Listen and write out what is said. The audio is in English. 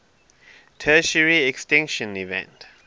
tertiary extinction event